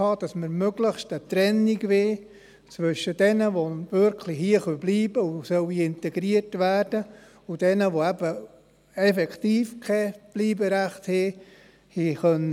Das heisst, dass wir möglichst eine Trennung zwischen jenen wollen, die wirklich hierbleiben können und integriert werden sollen, und jenen, die eben effektiv kein Bleiberecht haben.